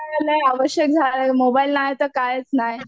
आवश्यक झालंय मोबाईल नाही तर कायच नाही.